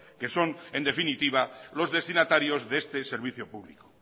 que son en definitiva los destinatarios de este servicio público